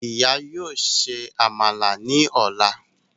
Ìyá yóò ṣe Àmàlà ní ọla